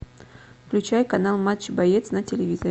включай канал матч боец на телевизоре